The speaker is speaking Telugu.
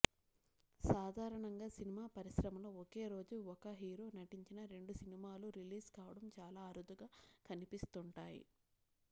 సాధారణంగా సినిమా పరిశ్రమలో ఒకే రోజు ఒక హీరో నటించిన రెండు సినిమాలు రిలీజ్ కావడం చాలా అరుదుగా కనిపిస్తుంటాయి